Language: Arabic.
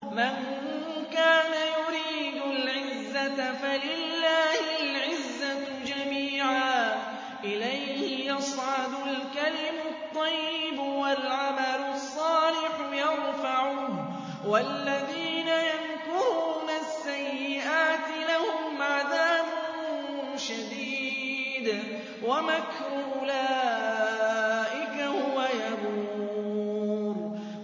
مَن كَانَ يُرِيدُ الْعِزَّةَ فَلِلَّهِ الْعِزَّةُ جَمِيعًا ۚ إِلَيْهِ يَصْعَدُ الْكَلِمُ الطَّيِّبُ وَالْعَمَلُ الصَّالِحُ يَرْفَعُهُ ۚ وَالَّذِينَ يَمْكُرُونَ السَّيِّئَاتِ لَهُمْ عَذَابٌ شَدِيدٌ ۖ وَمَكْرُ أُولَٰئِكَ هُوَ يَبُورُ